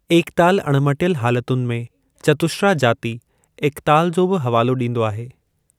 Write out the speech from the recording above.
एकताल अणिमटियलु हालतुनि में, चतुश्रा-जाति एकताल जो बि हवालो डीं॒दो आहे।